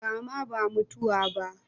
Rama ba mutuwa ba